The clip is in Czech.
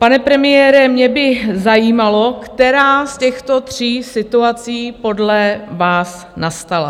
Pane premiére, mě by zajímalo, která z těchto tří situací podle vás nastala.